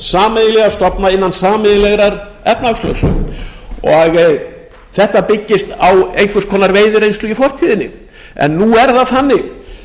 sameiginlega stofna inna sameiginlegrar efnahagslögsögu þetta byggist á einhvers konar veiðireynslu í fortíðinni en nú er það